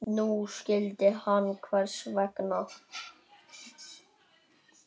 Núna skildi hann hvers vegna.